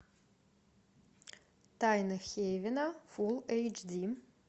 тайны хейвена фул эйч ди